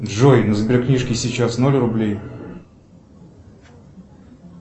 джой на сберкнижке сейчас ноль рублей